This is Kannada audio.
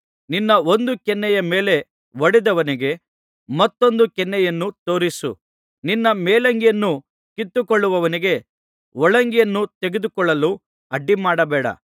ನಿನ್ನ ಒಂದು ಕೆನ್ನೆಯ ಮೇಲೆ ಹೊಡೆದವನಿಗೆ ಮತ್ತೊಂದು ಕೆನ್ನೆಯನ್ನೂ ತೋರಿಸು ನಿನ್ನ ಮೇಲಂಗಿಯನ್ನು ಕಿತ್ತುಕೊಳ್ಳುವವನಿಗೆ ಒಳಂಗಿಯನ್ನೂ ತೆಗೆದುಕೊಳ್ಳಲು ಅಡ್ಡಿಮಾಡಬೇಡ